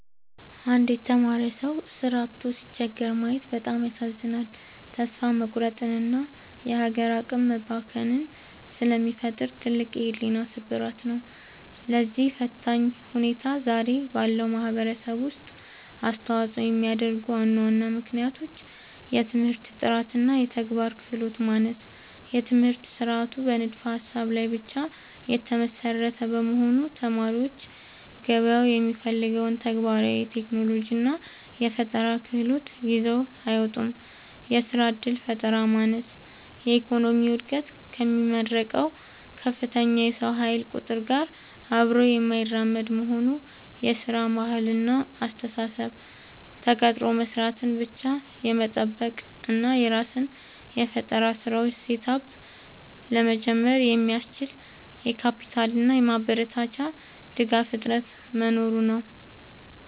አንድ የተማረ ሰው ሥራ አጥቶ ሲቸገር ማየት በጣም ያሳዝናል፤ ተስፋ መቁረጥንና የሀገር አቅም መባከንን ስለሚፈጥር ትልቅ የሕሊና ስብራት ነው። ለዚህ ፈታኝ ሁኔታ ዛሬ ባለው ማኅበረሰብ ውስጥ አስተዋፅኦ የሚያደርጉ ዋና ዋና ምክንያቶች፦ የትምህርት ጥራትና የተግባር ክህሎት ማነስ፦ የትምህርት ሥርዓቱ በንድፈ-ሀሳብ ላይ ብቻ የተመሰረተ በመሆኑ፣ ተማሪዎች ገበያው የሚፈልገውን ተግባራዊ የቴክኖሎጂና የፈጠራ ክህሎት ይዘው አይወጡም። የሥራ ዕድል ፈጠራ ማነስ፦ የኢኮኖሚው ዕድገት ከሚመረቀው ከፍተኛ የሰው ኃይል ቁጥር ጋር አብሮ የማይራመድ መሆኑ። የሥራ ባህልና አስተሳሰብ፦ ተቀጥሮ መሥራትን ብቻ የመጠበቅ እና የራስን የፈጠራ ሥራዎች (Startup) ለመጀመር የሚያስችል የካፒታልና የማበረታቻ ድጋፍ እጥረት መኖሩ ነው።